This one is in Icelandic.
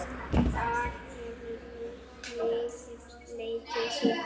Þar hefur liðið leikið síðan.